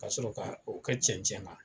Ka sɔrɔ ka o kɛ cɛncɛn na